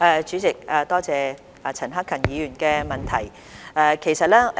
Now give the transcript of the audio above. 主席，多謝陳克勤議員的補充質詢。